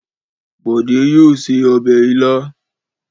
Bọ̀dé yóò se ọbẹ̀ ilá.